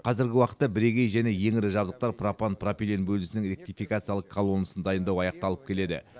қазіргі уақытта бірегей және ең ірі жабдықтар пропан пропилен бөлінісінің ректификациялық колоннасын дайындау аяқталып келеді